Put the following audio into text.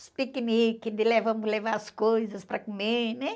Os piqueniques de le, vamos levar as coisas para comer, né?